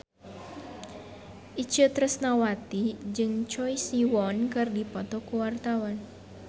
Itje Tresnawati jeung Choi Siwon keur dipoto ku wartawan